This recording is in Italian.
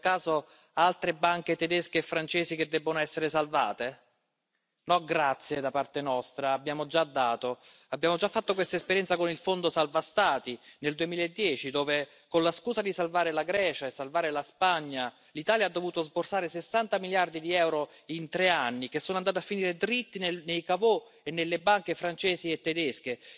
Ci sono per caso altre banche tedesche e francesi che debbono essere salvate? No, grazie, da parte nostra abbiamo già dato. Abbiamo già fatto questa esperienza con il Fondo salva Stati nel 2010, dove con la scusa di salvare la Grecia e salvare la Spagna, l'Italia ha dovuto sborsare 60 miliardi di euro in tre anni, che sono andati a finire dritti nei caveau e nelle banche francesi e tedesche.